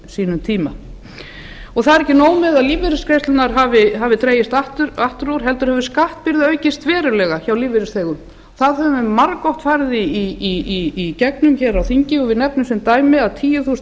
sínum tíma það er ekki nóg með að lífeyrisgreiðslurnar hafi dregist aftur úr heldur hefur skattbyrði aukist verulega hjá lífeyrisþegum við höfum margoft farið í gegnum það í þinginu og við nefnum sem dæmi að tíu þúsund